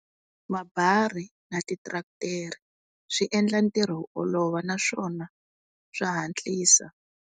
Mabarha na ti tiretere swi endla ntirho wu olova naswona swa hatlisa.